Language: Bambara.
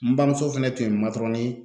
N bamuso fɛnɛ tun ye matɔrɔni